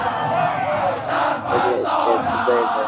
बढ़िया स्टेज सजायेड़ो है।